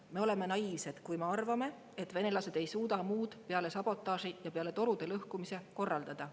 Me oleme naiivsed, kui me arvame, et venelased ei suuda muud peale sabotaaži ja torude lõhkumise korraldada.